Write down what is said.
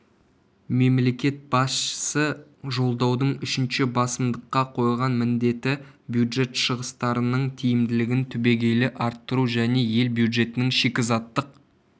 мемлекет басшысы жолдаудың үшінші басымдықта қойған міндеті бюджет шығыстарының тиімділігін түбегейлі арттыру және ел бюджетінің шикізаттық